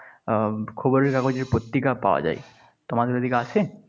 আহ খবরের কাগজের পত্রিকা পাওয়া যায়। তোমাদের ওদিকে আছে?